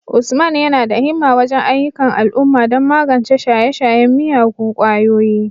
Usman yana da himma wajen ayyukan al'umma don magance shaye-shayen miyagun kwayoyi,